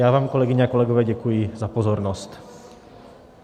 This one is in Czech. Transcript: Já vám, kolegyně a kolegové, děkuji za pozornost.